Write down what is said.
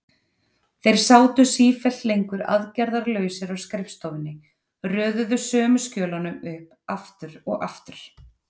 Þeir sátu sífellt lengur aðgerðarlausir á skrifstofunni, röðuðu sömu skjölunum upp aftur og aftur.